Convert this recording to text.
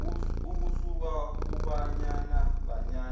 kusuka kubanyana banyana